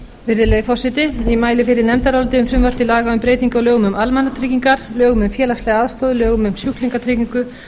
virðulegi forseti ég mæli fyrir nefndaráliti um breytingu á lögum um almannatryggingar lögum um félagslega aðstoð lögum um sjúklingatryggingu lögum